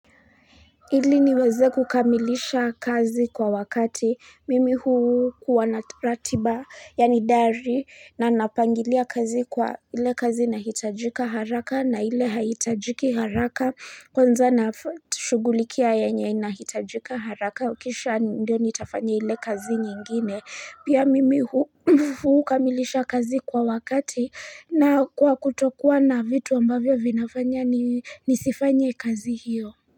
Ili niweze kukamilisha kazi kwa wakati mimi huu wanatratiba ya nidari na napangilia kazi kwa ile kazi nahitajika haraka na ile haitajiki haraka kwanza na shugulikia yenye nahitajika haraka ukisha ndio nitafanya ile kazi nyingine pia mimi huu kamilisha kazi kwa wakati na kwa kutokuwa na vitu ambavyo vinafanya nisifanye kazi hiyo.